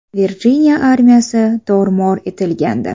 Virjiniya armiyasi tor-mor etilgandi.